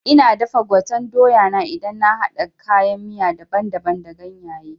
Ina dafa gwaten doya na idan na haɗa kayan miya daban daban da ganyaye